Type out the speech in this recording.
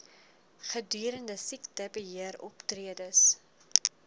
gedurende siektebe heeroptredes